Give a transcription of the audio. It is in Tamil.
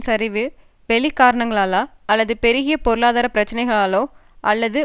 சரிவு வெளி காரணங்களாலா அல்லது பெருகிய பொருளாதார பிரச்சினைகளாலா அல்லது